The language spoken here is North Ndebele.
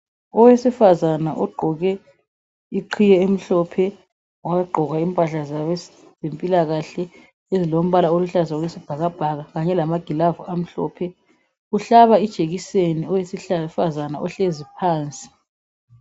Owesifazane ogqoke iqhiye emhlophe wagqoka impahla zabezempilakahle ezilombala oluhlaza okwesibhakabhaka kanye lamagilavu amhlophe, uhlaba ijekiseni owesifazana ohlezi phansi